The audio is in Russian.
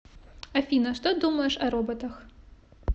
афина что думаешь о роботах